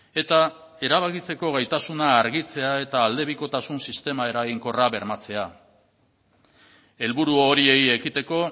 eta erabakitzeko gaitasuna argitzea eta aldebikotasun sistema eraginkorra bermatzea helburu horiei ekiteko